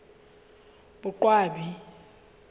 boqwabi